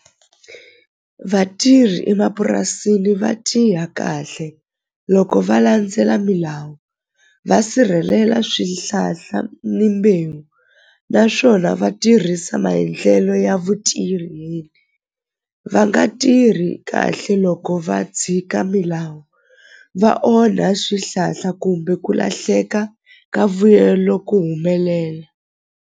Vatirhi emapurasini va kahle loko va landzela milawu va sirhelela swihlahla ni mbewu naswona va tirhisa maendlelo ya va nga tirhi kahle loko va tshika milawu va onha swihlahla kumbe ku lahleka ka vuyelo ku humelela.